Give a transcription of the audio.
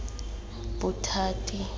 bothati